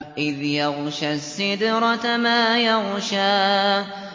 إِذْ يَغْشَى السِّدْرَةَ مَا يَغْشَىٰ